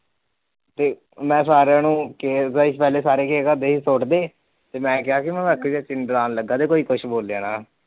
ਮੈ ਸਾਰਿਆ ਨੂੰ ਤੇ ਮੈ ਕਿਹਾ ਸੀ ਮੈ ਨੂੰ ਡਰਾਨ ਲੱਗਾ ਕੋਈ ਕੁਛ ਬੋਲਿਓ ਨਾ